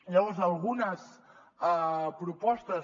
llavors algunes propostes